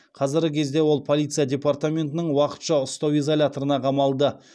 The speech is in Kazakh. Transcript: қазіргі кезде ол полиция департаментінің уақытша ұстау изоляторына қамалды